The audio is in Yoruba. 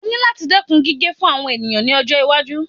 O ní láti dẹ́kun gíge fún àwọn ènìyàn ní ọjọ́-iwájú.